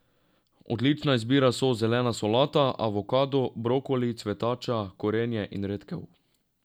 Odlična izbira so zelena solata, avokado, brokoli, cvetača, korenje in redkev.